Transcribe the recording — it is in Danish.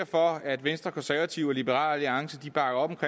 for at venstre konservative og liberal alliance bakker op